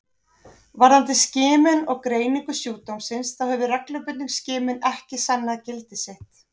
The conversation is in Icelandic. Varðandi skimun og greiningu sjúkdómsins þá hefur reglubundin skimun ekki sannað gildi sitt.